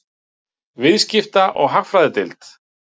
Viðskipta- og hagfræðideild.